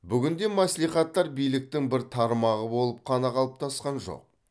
бүгінде мәслихаттар биліктің бір тармағы болып қана қалыптасқан жоқ